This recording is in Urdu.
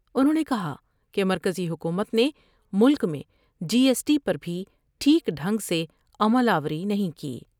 انہوں نے کہا کہ مرکزی حکومت نے ملک میں جی ایس ٹی پر بھی ٹھیک ڈھنگ سے عمل آوری نہیں کی ۔